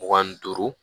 Mugan ni duuru